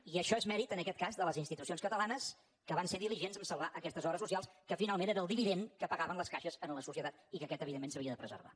i això és mèrit en aquest cas de les institucions catalanes que van ser diligents a salvar aquestes obres socials que finalment era el dividend que pagaven les caixes a la societat i que aquest evidentment s’havia de preservar